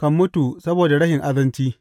kan mutu saboda rashin azanci.